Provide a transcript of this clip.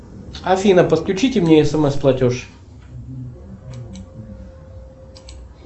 афина подключите мне смс платеж